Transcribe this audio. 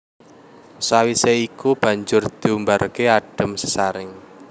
Sawisé iku banjur diumbarké adhem disaring